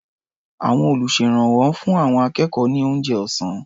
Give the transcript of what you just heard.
Àwọn olùṣèrànwọ́ ń fún àwọn akẹ́kọ̀ọ́ ní oúnjẹ ọ̀sá́n.